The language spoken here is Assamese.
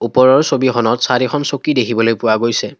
ওপৰৰ ছবিখনত চাৰিখন চকী দেখিবলৈ পোৱা গৈছে।